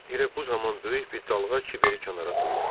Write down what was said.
Elə bu zaman böyük bir dalğa kiberi kənara tulladı.